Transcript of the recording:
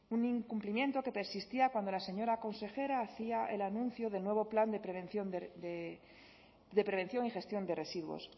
un incumplimiento que persistía cuando la señora consejera hacia el anuncio del nuevo plan de prevención y gestión de residuos